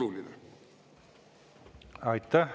Aitäh!